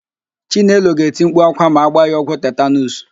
Chinelo ga-eti mkpu ákwá ma a gbaa ya ọgwụ tetanuus.